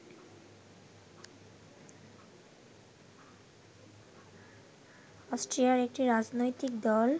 অস্ট্রিয়ার একটি রাজনৈতিক দল